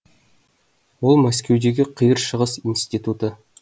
ол мәскеудегі қиыр шығыс институты